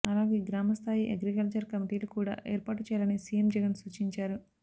అలాగే గ్రామ స్థాయి అగ్రికల్చర్ కమిటీలు కూడా ఏర్పాటు చేయాలని సీఎం జగన్ సూచించారు